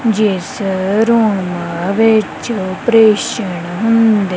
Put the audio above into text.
ਜਿਸ ਰੂਮਾ ਵਿੱਚ ਅਪਰੇਸ਼ਨ ਹੁੰਦੇ।